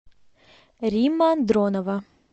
римма дронова